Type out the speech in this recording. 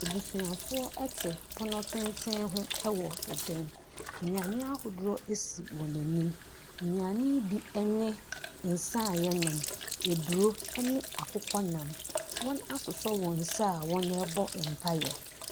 Abusuafoɔ te pono tenten ho wɔ ɛdan mu. Nnuane ahodoɔ sisi wɔn anim. Nnuane yi bo ne nsa a wɔnom, aburo ne akokɔnam. Wɔasosɔ wɔn nsa a wɔrebɔ mpaeɛ.